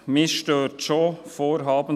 Mich stört schon «